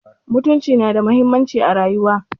Mutunci nada muhimmanci a rayuwar.